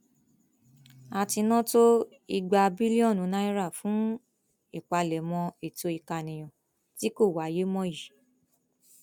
a ti ná tó igba bílíọnù náírà fún ìpalẹmọ ètò ìkànìyàn tí kò wáyé mọ yìí